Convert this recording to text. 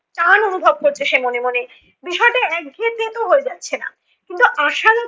টান অনুভব করতো সে মনে মনে, বিষয়টা একঘেয়ে তেতো হয়ে যাচ্ছে না। কিন্তু আশালতা